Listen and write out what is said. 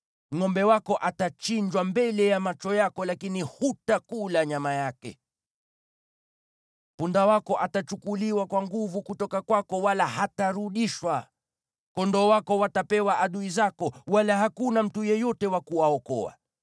Ngʼombe wako atachinjwa mbele ya macho yako lakini hutakula nyama yake. Punda wako atachukuliwa kwa nguvu kutoka kwako wala hatarudishwa. Kondoo wako watapewa adui zako, wala hakuna mtu yeyote wa kuwaokoa.